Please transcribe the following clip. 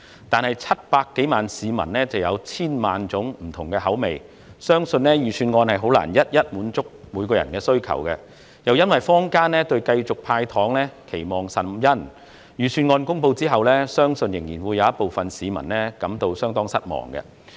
但是 ，700 多萬名市民有千萬種不同的口味，相信預算案難以一一滿足各人的需求，而且坊間對繼續"派糖"期望甚殷，我相信在預算案公布後仍有部分市民感到相當失望。